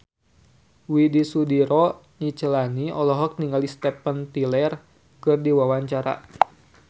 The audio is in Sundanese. Widy Soediro Nichlany olohok ningali Steven Tyler keur diwawancara